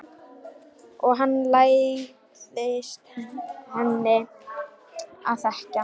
Og hann lærðist henni að þekkja.